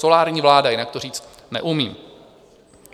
Solární vláda, jinak to říct neumím.